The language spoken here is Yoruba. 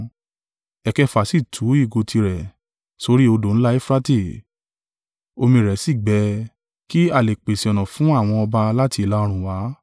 Ẹ̀kẹfà sì tu ìgò tirẹ̀ sórí odò ńlá Eufurate; omi rẹ̀ sì gbẹ, kí a lè pèsè ọ̀nà fún àwọn ọba láti ìlà-oòrùn wá.